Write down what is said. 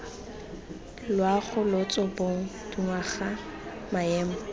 loago lotso bong dingwaga maemo